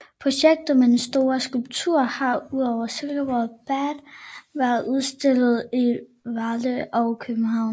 Projektet med den store skulptur har udover Silkeborg Bad været udstillet i Varde og København